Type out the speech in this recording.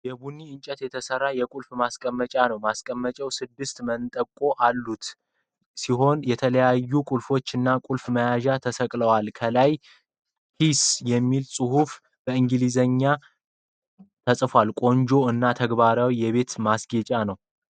ከቡኒ እንጨት የተሰራ የቁልፍ ማስቀመጫ ነው። ማስቀመጫው ስድስት መንጠቆዎች ያሉት ሲሆን ፣ የተለያዩ ቁልፎች እና ቁልፍ መያዣዎች ተሰቅለውበታል ። ከላይ "ኪይስ" የሚለው ቃል በእንግሊዝኛ ተጽፏል። ቆንጆ እና ተግባራዊ የቤት ማስጌጫ ነው።